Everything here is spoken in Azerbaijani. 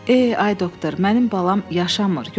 Eh, ay doktor, mənim balam yaşamır.